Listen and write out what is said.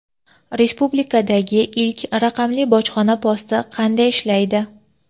Respublikadagi ilk raqamli bojxona posti qanday ishlaydi?.